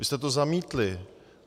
Vy jste to zamítli.